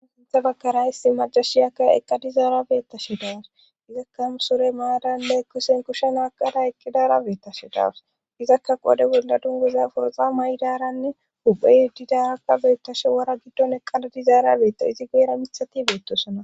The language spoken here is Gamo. Sintha bagkara hissi majashiyakka eqqa dizaarabeettashe dawus izakka musore maadanne kusen kushen aaqada eqqidaarabeettashe daawus izakka qode bolla dunguza foroxa may'i daaranne huphe yeddidaarakka beettashe wara giddon eqqala dizaara beetta izi geera mithati beettosana.